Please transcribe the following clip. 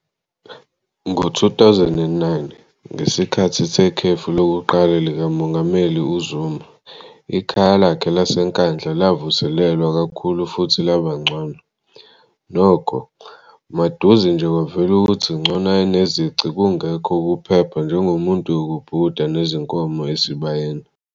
Ngo-2009, ngesikhathi sekhefu lokuqala likaMongameli uZuma, ikhaya lakhe laseNkandla lavuselelwa kakhulu futhi laba ngcono. Nokho, maduze nje kwavela ukuthi ngcono ayenezici khungekho-ukuphepha njengomuntu yokubhukuda nezinkomo esibayeni.